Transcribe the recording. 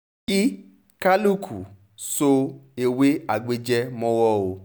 kí kálukú so ewé agbéjẹ́ mọ́wọ́ o